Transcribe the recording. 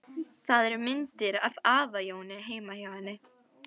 Það eru myndir af afa Jóni heima hjá henni.